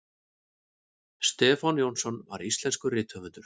stefán jónsson var íslenskur rithöfundur